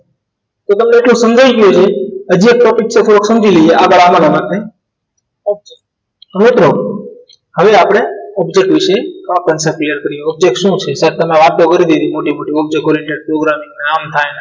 તો તમને એટલું સમજાઈ ગયું ને હજુ એક topic સમજી લઈએ આગળ આવવાનો મળશે હવે તો હવે આપણે object વિશે clear કરીએ object શું છે તમે વાત તો કરી દીધી મોટી મોટી object oriented programming આમ થાય